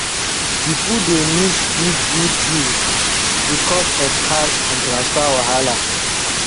pipo dey miss good good deals because of cash and transfer wahala